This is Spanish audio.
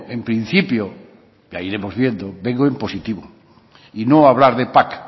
en principio ya iremos viendo vengo en positivo y no a hablar de pac